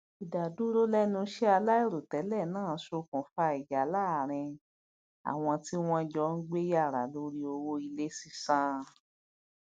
ìdádúró lẹnú iṣẹ aláìròtẹlẹ náà sokùnfà ìjà láàrin àwọn tí wọn jọ ń gbé yàrá lórí owó ilé sísan